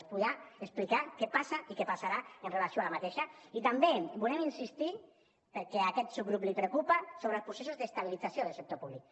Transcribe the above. ens podrà explicar què passa i què passarà amb relació a aquesta i també volem insistir perquè a aquest subgrup li preocupa sobre els processos d’estabilització del sector públic